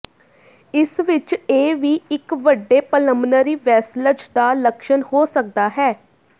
ਇਸ ਵਿਚ ਇਹ ਵੀ ਇੱਕ ਵੱਡੇ ਪਲਮਨਰੀ ਵੈਸਲਜ਼ ਦਾ ਲੱਛਣ ਹੋ ਸਕਦਾ ਹੈ